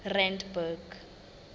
randburg